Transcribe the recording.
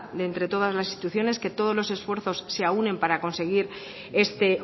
de entre todas las instituciones que todos esfuerzos se aúnen para conseguir este